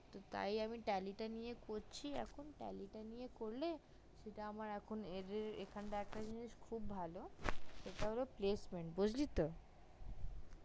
তাই আমি tally টা নিয়েই করছি এখন tally টা করলে সেটা এইখানে একটা জিনিস খুব ভালো এটা placeman বুজলি তো